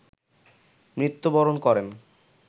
মৃত্যুবরণ করেন